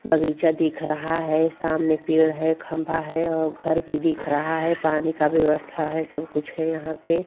बगीचा दिख रहा है। सामने पेड़ है खम्भा है और घर भी दिख रहा है पानी का भी व्यवस्था है और सब कुछ है यहाँ पे.